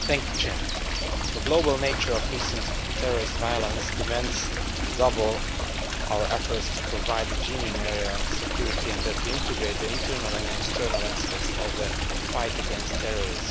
Mr President, the global nature of recent terrorist violence demands that we redouble our efforts to provide a genuine area of security, and that we integrate the internal and external aspects of the fight against terrorism.